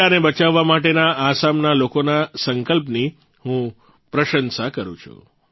ગેંડાને બચાવવા માટેના આસામના લોકોના સંકલ્પની હું પ્રસંશા કરૂં છું